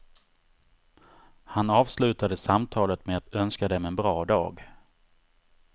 Han avslutade samtalet med att önska dem en bra dag.